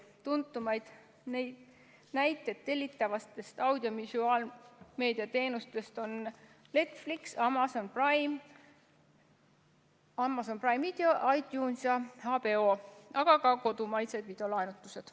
Tuntuimad tellitavad audiovisuaalmeedia teenused on Netflix, Amazon Prime Video, iTunes ja HBO, aga ka kodumaised videolaenutused.